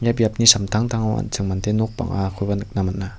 ia biapni samtangtango an·ching mande nok bang·akoba nikna man·a.